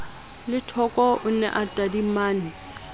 lethoko o ne a tadimane